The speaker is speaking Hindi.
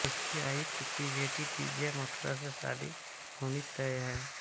उसकी आयुक्त की बेटी दिव्या माथुर से शादी होनी तय है